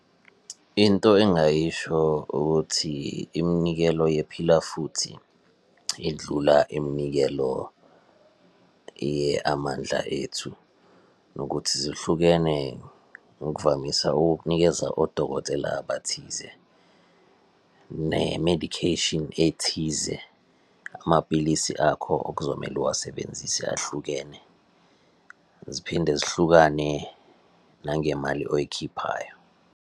Into engingayisho ukuthi iminikelo yePhila Futhi yendlula iminikelo ye-Amandla Ethu, nokuthi zihlukene ngokuvamisa ukukunikeza odokotela abathize ne-medication ethize. Amapilisi akho okuzomele uwasebenzise ahlukene. Ziphinde zihlukane nangemali oyikhiphayo.